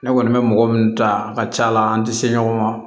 Ne kɔni bɛ mɔgɔ minnu ta a ka ca la an tɛ se ɲɔgɔn ma